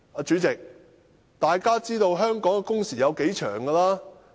主席，大家也知道香港的工時有多長。